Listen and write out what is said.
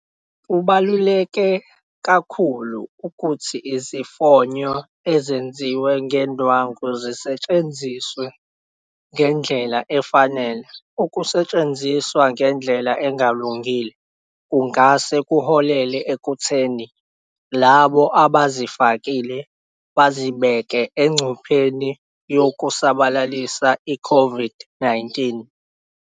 Kubaluleke kakhulu ukuthi izifonyo ezenziwe ngendwangu zisetshenziswe ngendlela efanele. Ukusetshenziswa ngendlela engalungile kungahle kuholele ekutheni labo abawafakile bazibeke engcupheni yokusabalalisa iCOVID-19.